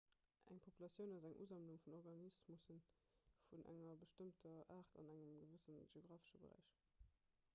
eng populatioun ass eng usammlung vun organismusse vun enger bestëmmter aart an engem gewësse geografesche beräich